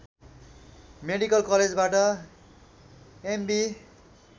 medical कलेजबाट MB